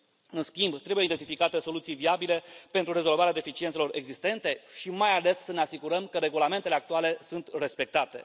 În schimb, trebuie identificate soluții viabile pentru rezolvarea deficiențelor existente și, mai ales, trebuie să ne asigurăm că regulamentele actuale sunt respectate.